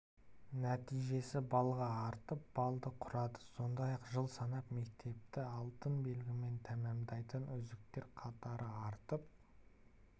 нәтижесі балға артып балды құрады сондай-ақ жыл санап мектепті алтын белгімен тәмамдайтын үздіктер қатары артып